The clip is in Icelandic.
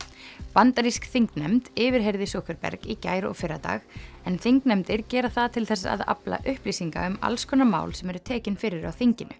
bandarísk þingnefnd yfirheyrði Zuckerberg í gær og fyrradag en þingnefndir gera það til þess að afla upplýsinga um alls konar mál sem eru tekin fyrir á þinginu